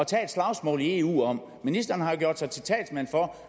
tage et slagsmål i eu om ministeren har jo gjort sig til talsmand for